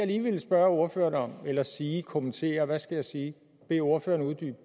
lige ville spørge ordføreren om eller sige kommentere hvad skal jeg sige bede ordføreren uddybe